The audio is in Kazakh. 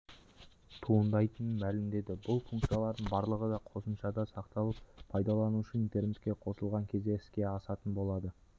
туындайтынын мәлімдеді бұл функциялардың барлығы да қосымшада сақталып пайдаланушы интернетке қосылған кезде іске асатын болады